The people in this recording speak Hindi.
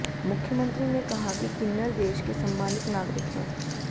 मुख्यमंत्री ने कहा कि किन्नर देश के सम्मानित नागरिक हैं